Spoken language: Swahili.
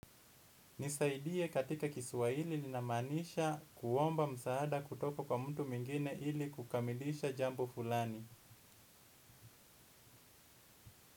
Nisaidie katika kiswahili linamaanisha kuomba msaada kutoka kwa mtu mwingine ili kukamilisha jambo fulani.